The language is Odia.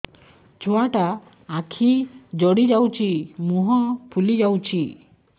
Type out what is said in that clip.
ଛୁଆଟା ଆଖି ଜଡ଼ି ଯାଉଛି ମୁହଁ ଫୁଲି ଯାଉଛି